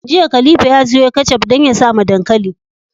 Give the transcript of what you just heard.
Jiya khalifa ya siyo ketchup dan ya sawa dankali